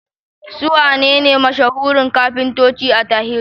Su wanene mashahuran kafintoci a tarihi?